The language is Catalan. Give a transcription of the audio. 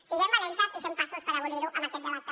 siguem valentes i fem passos per abolir ho amb aquest debat també